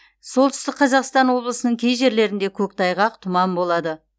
солтүстік қазақстан облысының кей жерлерінде көктайғақ тұман болады